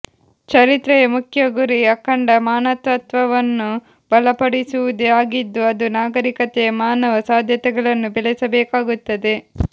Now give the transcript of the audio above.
ಚರಿತ್ರೆಯ ಮುಖ್ಯ ಗುರಿ ಅಖಂಡ ಮಾನವತ್ವವನ್ನು ಬಲಪಡಿಸುವುದೇ ಆಗಿದ್ದು ಅದು ನಾಗರಿಕತೆಯ ಮಾನವ ಸಾಧ್ಯತೆಗಳನ್ನು ಬೆಳೆಸಬೇಕಾಗುತ್ತದೆ